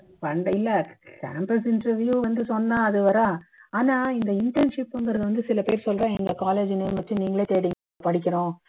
இல்ல campus interview வந்து சொன்னா அது வரும் ஆனா இந்த internship ங்குறது வந்து சில பேர் சொல்றா எங்க college name வச்சு நீங்களே தேடி படிக்கணும்